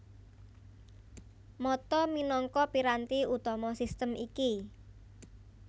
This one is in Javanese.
Mata minangka piranti utama sistem iki